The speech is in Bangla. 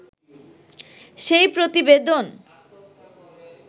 সেই প্রতিবেদন